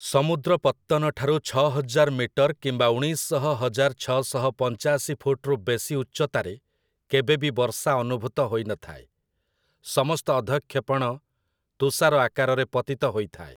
ସମୁଦ୍ର ପତ୍ତନ ଠାରୁ ଛଅହଜାର ମିଟର କିମ୍ବା ଉଣେଇଶ ଶହ ହଜାର ଛଅଶହ ପଞ୍ଚାଶି ଫୁଟ୍‌ରୁ ବେଶୀ ଉଚ୍ଚତାରେ କେବେ ବି ବର୍ଷା ଅନୁଭୂତ ହୋଇନଥାଏ, ସମସ୍ତ ଅଧଃକ୍ଷେପଣ ତୁଷାର ଆକାରରେ ପତିତ ହୋଇଥାଏ ।